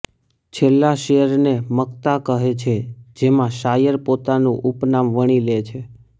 છેલ્લા શેરને મક્તા કહે છે જેમાં શાયર પોતાનું ઉપનામ વણી લે છે